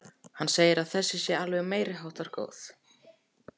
Hann segir að þessi sé alveg meiriháttar góð.